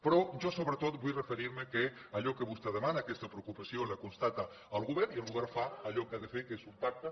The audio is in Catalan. però jo sobretot vull referir me que allò que vostè demana aquesta preocupació la constata el govern i el govern fa allò que ha de fer que és un pacte